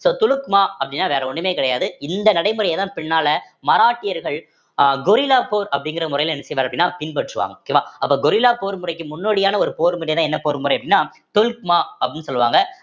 so துலுக்மா அப்படின்னா வேற ஒண்ணுமே கிடையாது இந்த நடைமுறையைதான் பின்னால மராட்டியர்கள் அஹ் கொரில்லா போர் அப்படிங்கிற முறையில என்ன செய்வாரு அப்படின்னா பின்பற்றுவாங்க okay வா அப்ப கொரில்லா போர் முறைக்கு முன்னோடியான ஒரு போர் முறைன்னா என்ன போர் முறை அப்படின்னா துல்க்மா அப்படின்னு சொல்லுவாங்க